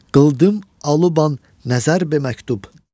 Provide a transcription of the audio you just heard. Qıldım alıban nəzər be məktub.